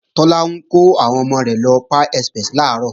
Tọ́lá ń kọ́ àwọn ọmọ rẹ̀ lọ sí Pie Express làárọ̀